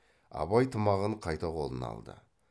абай тымағын қайта қолына алды